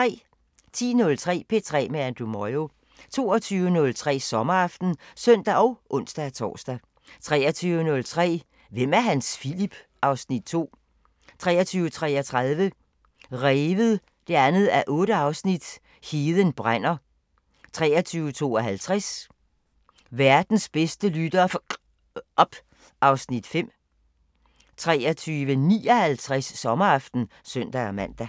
10:03: P3 med Andrew Moyo 22:03: Sommeraften (søn og ons-tor) 23:03: Hvem er Hans Philip? (Afs. 2) 23:33: Revet 2:8 – Heden brænder 23:52: Verdens bedste lyttere f*cker op (Afs. 5) 23:59: Sommeraften (søn-man)